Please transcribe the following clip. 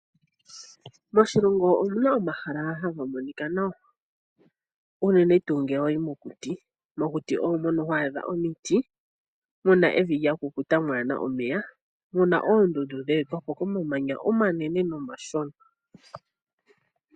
Moshilongo omu na omahala haga monika nawa unene ngele wayi mokuti. Mokuti omo mono ho adha omiti mu na evi lya kukuta, mwaana omeya nomu na oondundu dhe etwapo komamanya omanene nomashona.